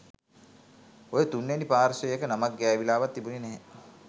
ඔය තුන්වැනි පාර්ශ්වයක නමක් ගෑවිලාවත් තිබුණේ නැහැ